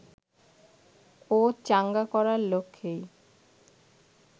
ও চাঙ্গা করার লক্ষ্যেই